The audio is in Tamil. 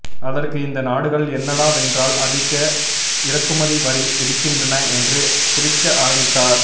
அதற்கு இந்த நாடுகள் என்னடாவென்றால் அதிக இறக்குமதி வரி விதிக்கின்றன என்று குதிக்க ஆரம்பித்தார்